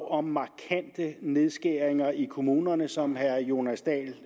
om markante nedskæringer i kommunerne som herre jonas dahl